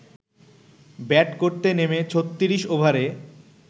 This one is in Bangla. ব্যাট করতে নেমে ৩৬ ওভারে